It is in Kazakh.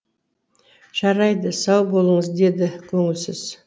жарайды сау болыңыз деді көңілсіз